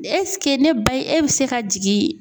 ne ba ye e bɛ se ka jigin